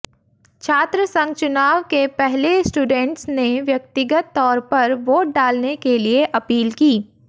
छात्रसंघ चुनाव के पहले स्टूडेंट्स ने व्यक्तिगत तौर पर वोट डालने के लिए अपील की